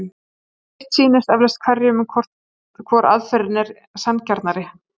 Sitt sýnist eflaust hverjum um hvor aðferðin er sanngjarnari.